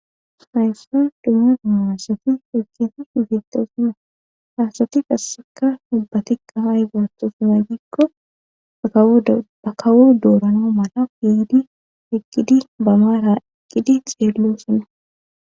hayssa dumma duma assati eqqiti igitosina haasati qasseka dubbati qahaay gootosumay gikko bakawo doorano mala piidi eqqidi bamaara eqqidi xeello sina